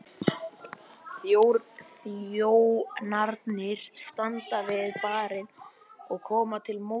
Þjónarnir standa við barinn og koma til móts við